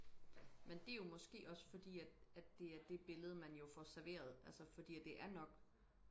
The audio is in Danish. men det er jo måske også fordi at at det er det billede man jo får serveret for det er nok